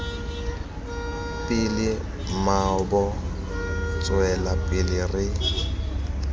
pele mmaabo tswela pele re